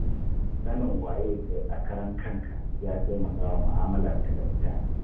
Sanin waye kai a karan kanka ya taimaka wa mu'amullarka da mutane